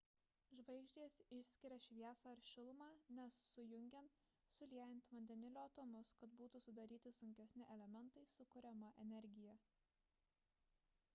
žvaigždės išskiria šviesą ir šilumą nes sujungiant suliejant vandenilio atomus kad būtų sudaryti sunkesni elementai sukuriama energija